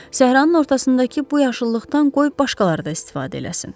Səhranın ortasındakı bu yaşıllıqdan qoy başqaları da istifadə eləsin.